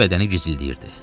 Bütün bədəni gizlədilirdi.